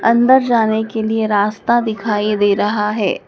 अंदर जाने के लिए रास्ता दिखाई दे रहा है।